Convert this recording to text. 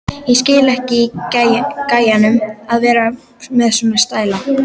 Ég skil ekki í gæjanum að vera með svona stæla!